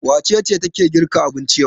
Wace ce take girka abinci yau?